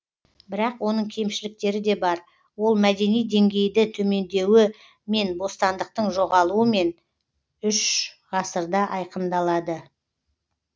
бірақ оның кемшіліктері де бар ол мәдени деңгейді төмендеуі мен бостандықтың жоғалуымен үш ғасырда айқындалады